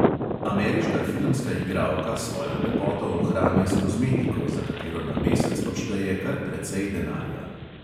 Ameriška filmska igralka svojo lepoto ohranja s kozmetiko, za katero na mesec odšteje kar precej denarja.